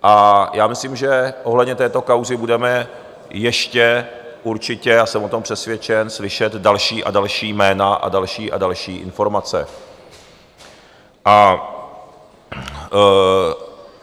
A já myslím, že ohledně této kauzy budeme ještě určitě - já jsem o tom přesvědčen - slyšet další a další jména a další a další informace.